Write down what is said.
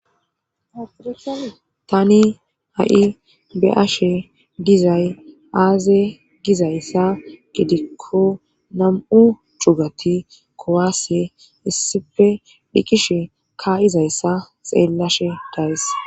tani ha7i be'ashe dizay aaze gizayssa gidikko nam7u cugati kuwase issipe dhiqishe ka7izayssa xeellashe days